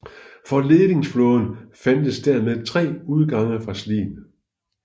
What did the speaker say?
For ledingsflåden fandtes dermed tre udgange fra Slien